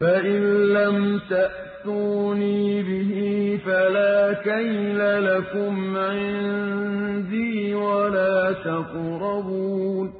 فَإِن لَّمْ تَأْتُونِي بِهِ فَلَا كَيْلَ لَكُمْ عِندِي وَلَا تَقْرَبُونِ